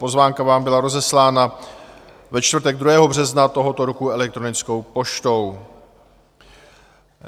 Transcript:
Pozvánka vám byla rozeslána ve čtvrtek 2. března tohoto roku elektronickou poštou.